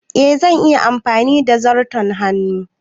Eh, zan iya amfani da zarton hannu.